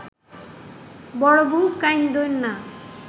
বড়বু কাঁইন্দোন না